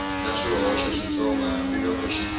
na swihoxo switsongo hambiloko xi